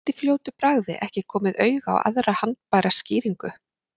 Gat í fljótu bragði ekki komið auga á aðra haldbæra skýringu.